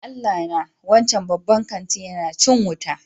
Ya Allah na! Wancan babban kanti yana cin wuta.